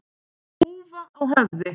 Húfa á höfði.